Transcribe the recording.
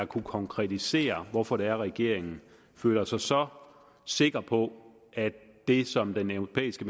kunne konkretisere hvorfor det er regeringen føler sig så sikker på at det som den europæiske